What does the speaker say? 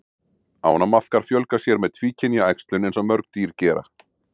Ánamaðkar fjölga sér með tvíkynja æxlun eins og mörg dýr gera.